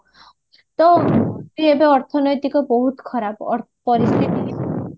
ତ ମୋର ବି ଏବେ ଅର୍ଥନୈତିକ ବହୁତ ଖରାପ